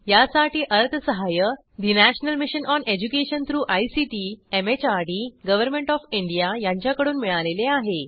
यासाठी अर्थसहाय्य national mission on education through ICT MHRD government O F India यांच्याकडून मिळालेले आहे